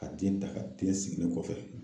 Ka den ta ka den sigi ne kɔfɛ.